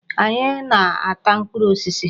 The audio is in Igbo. Anyị ga na-ata mkpụrụ osisi.